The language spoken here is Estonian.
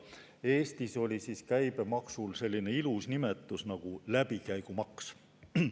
Eestis oli käibemaksul selline ilus nimetus nagu "läbikäigumaks".